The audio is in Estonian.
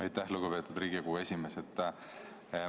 Aitäh, lugupeetud Riigikogu esimees!